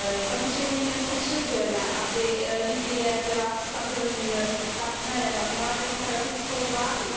Samozřejmě potřebujeme, aby Libye byla stabilním partnerem a měla demokratickou vládu.